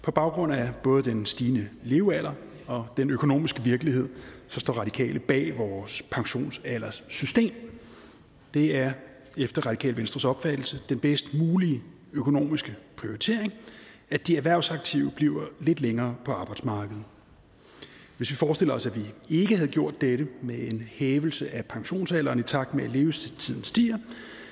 på baggrund af både den stigende levealder og den økonomiske virkelighed står radikale bag vores pensionsalderssystem det er efter radikale venstres opfattelse den bedst mulige økonomiske prioritering at de erhvervsaktive bliver lidt længere på arbejdsmarkedet hvis vi forestiller os at vi ikke havde gjort dette med en hævelse af pensionsalderen i takt med at levetiden stiger